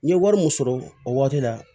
N ye wari min sɔrɔ o waati la